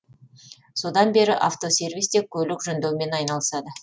содан бері автосервисте көлік жөндеумен айналысады